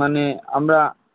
মানে আমরা